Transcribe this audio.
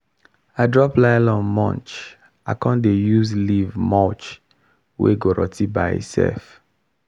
i drop nylon mulch i con dey use leaf mulch wey go rot ten by itself.